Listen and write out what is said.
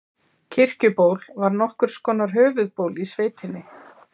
Kirkjuból var nokkurs konar höfuðból í sveitinni.